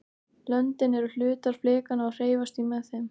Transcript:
löndin eru hlutar flekanna og hreyfast því með þeim